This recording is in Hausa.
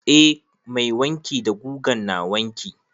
Eh mai wanki da gugan na wanki.